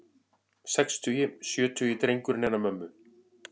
Sextugi, sjötugi drengurinn hennar mömmu.